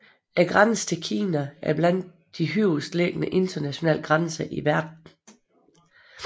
Grænsen til Kina er blandt de højest liggende internationale grænser i verden